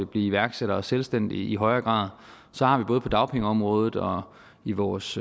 blive iværksættere og selvstændige i højere grad så har vi både på dagpengeområdet og i vores